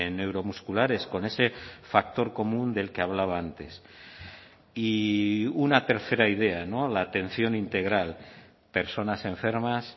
neuromusculares con ese factor común del que hablaba antes y una tercera idea no la atención integral personas enfermas